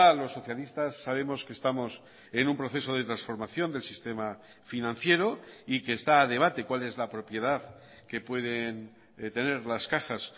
los socialistas sabemos que estamos en un proceso de transformación del sistema financiero y que está a debate cuál es la propiedad que pueden tener las cajas